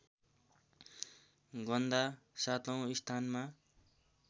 गन्दा सातौँ स्थानमा